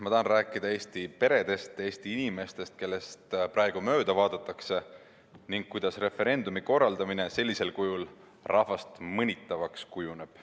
Ma tahan rääkida Eesti peredest, Eesti inimestest, kellest praegu mööda vaadatakse, ning sellest, kuidas referendumi korraldamine sellisel kujul rahvast mõnitavaks kujuneb.